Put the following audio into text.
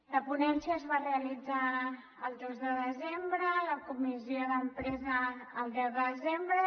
la ponència es va realitzar el dos de desembre i la comissió d’empresa el deu de desembre